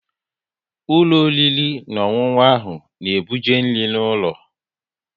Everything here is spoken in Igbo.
Ụlọ oriri na ọṅụṅụ ahụ na-ebuje nri n'ụlọ